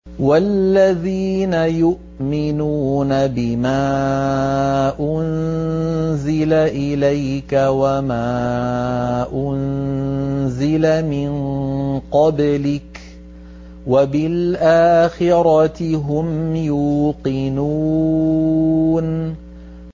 وَالَّذِينَ يُؤْمِنُونَ بِمَا أُنزِلَ إِلَيْكَ وَمَا أُنزِلَ مِن قَبْلِكَ وَبِالْآخِرَةِ هُمْ يُوقِنُونَ